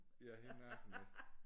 Ja hele nakken